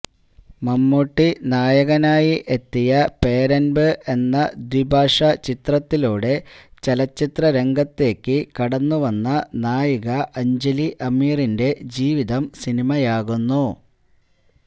മമ്മൂട്ടി നായകനായി എത്തിയ പേരമ്പ് എന്ന ദ്വിഭാഷാ ചിത്രത്തിലൂടെ ചലച്ചിത്രരംഗത്തേക്ക് കടന്ന് വന്ന നായിക അഞ്ജലി അമീറിന്റെ ജീവിതം സിനിമയാകുന്നു